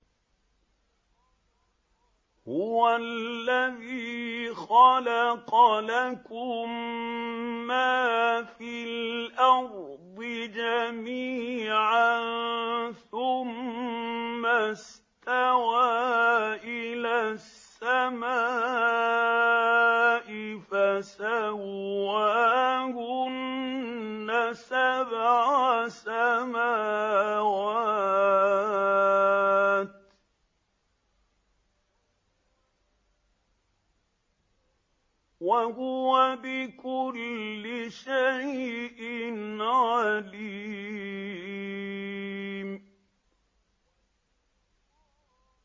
هُوَ الَّذِي خَلَقَ لَكُم مَّا فِي الْأَرْضِ جَمِيعًا ثُمَّ اسْتَوَىٰ إِلَى السَّمَاءِ فَسَوَّاهُنَّ سَبْعَ سَمَاوَاتٍ ۚ وَهُوَ بِكُلِّ شَيْءٍ عَلِيمٌ